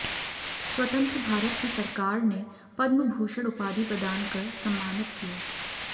स्वतंत्र भारत की सरकार ने पद्मभूषण उपाधि प्रदानकर सम्मानित किया